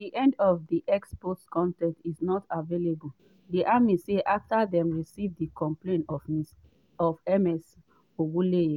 end of x post con ten t is not available di army say afta dem receive di complaint of ms ogunleye